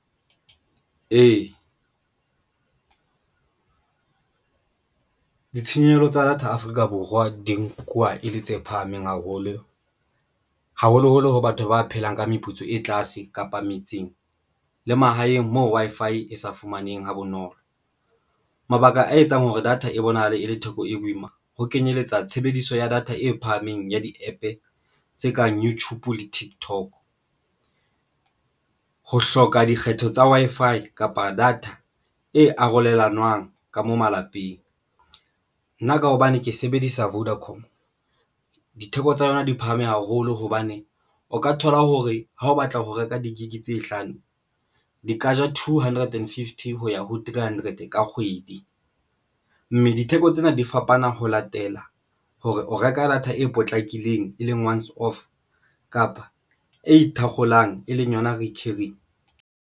Ee, ditshenyehelo tsa data Afrika Borwa di nkuwa e le tse phahameng haholo, haholoholo ho batho ba phelang ka meputso e tlase kapa metseng le mahaeng moo Wi-Fi e sa fumaneng ha bonolo. Mabaka a etsang hore data e bonahale e le theko e boima ho kenyeletsa tshebediso ya data e phahameng ya di-APP tse kang YouTube, TikTok ho hloka dikgetho tsa Wi-Fi kapa data e arolelanwang ka mo malapeng. Nna ka hobane ke sebedisa Vodacom. ditheko tsa yona di phahame haholo hobane o ka thola hore ha o batla ho reka di-gig tse hlano di ka ja two hundred and fifty, ho ya three hundred ka kgwedi mme ditheko tsena di fapana ho latela hore o reka data e potlakileng, e leng once off kapa e thakgolang e leng yona recurring.